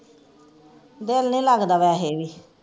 ਦਿਲ ਨੀ ਲਗਦਾ ਵੈਸੇ ਵੀ